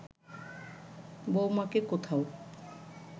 বউমাকে কোথাও